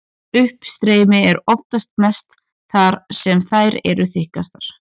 Uppstreymi er oftast mest þar sem þær eru þykkastar.